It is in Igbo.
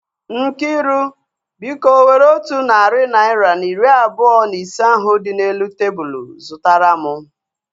Nkiru, biko were otu narị naira na iri abụọ na ise ahu dị n'elu tebụlu zụtara mụ